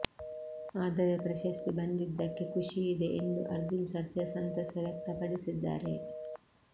ಆದರೆ ಪ್ರಶಸ್ತಿ ಬಂದಿದ್ದಕ್ಕೆ ಖುಷಿ ಇದೆ ಎಂದು ಅರ್ಜುನ್ ಸರ್ಜಾ ಸಂತಸ ವ್ಯಕ್ತಪಡಿಸಿದ್ದಾರೆ